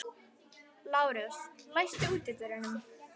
Lárus, læstu útidyrunum.